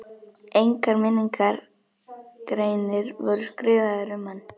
Engar minningargreinar voru skrifaðar um hann.